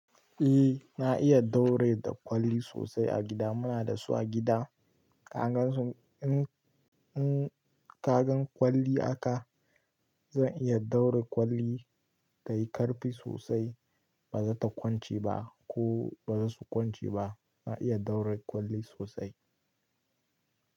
Eh na iya ɗaure ɗan kwalli sosai a gida. Muna da su a gida. Ka gansu in kaga ɗan kwalli a ka, zan iya ɗaura ɗan kwalli tayi karfi sosai ba zata kwance ba ko ba zasu kwance ba. Na iya daure kwalli sosai.